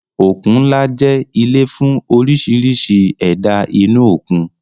Òkun ńlá jẹ́ ilé fún oríṣiríṣi ẹ̀dá inú òkun